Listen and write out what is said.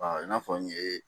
i n'a fɔ n ye